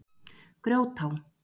Grjótá